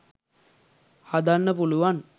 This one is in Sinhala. හදන්න පුළුවන්.